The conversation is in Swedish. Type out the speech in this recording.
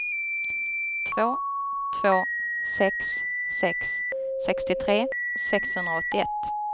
två två sex sex sextiotre sexhundraåttioett